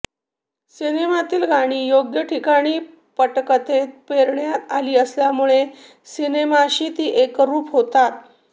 सिनेमातील गाणी योग्य ठिकाणी पटकथेत पेरण्यात आली असल्यामुळे सिनेमाशी ती एकरूप होतात